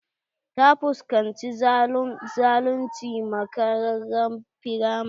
Ta fuskanci zalunci a makaranrar firamari.